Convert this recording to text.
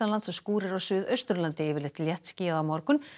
og skúrir á Suðausturlandi yfirleitt léttskýjað á morgun